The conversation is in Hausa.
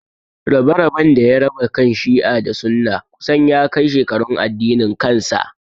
Rabe-raben da ya raba kan Shi'a da Sunna kusan ya kai shekarun addinin kansa.